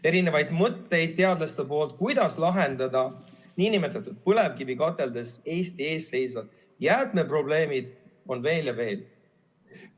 Erinevaid mõtteid, kuidas lahendada nn põlevkivikateldes Eesti ees seisvad jäätmeprobleemid, on teadlastel veel ja veel.